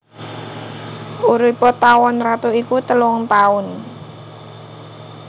Uripé tawon ratu iku telung taun